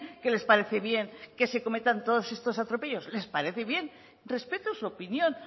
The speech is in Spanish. que les parece bien que se cometan todos estos atropellos les parece bien respeto su opinión